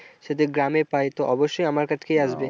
যদি গ্রামে পাই তো অবশ্য আমার কাছে আসবে।